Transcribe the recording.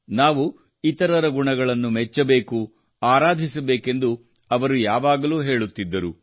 ನಾವು ಇತರರ ಗುಣಗಳನ್ನು ಮೆಚ್ಚಬೇಕು ಆರಾಧಿಸಬೇಕೆಂದು ಅವರು ಯಾವಾಗಲೂ ಹೇಳುತ್ತಿದ್ದರು